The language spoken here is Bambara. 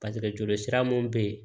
Paseke joli sira mun be yen